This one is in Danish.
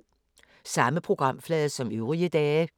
Samme programflade som øvrige dage